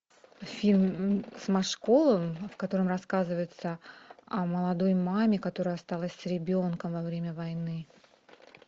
фильм с машковым в котором рассказывается о молодой маме которая осталась с ребенком во время войны